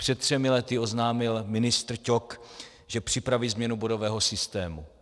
Před třemi lety oznámil ministr Ťok, že připraví změnu bodového systému.